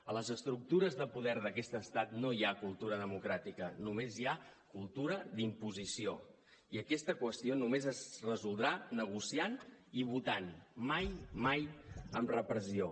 a les estructures de poder d’aquest estat no hi ha cultura democràtica només hi ha cultura d’imposició i aquesta qüestió només es resoldrà negociant i votant mai mai amb repressió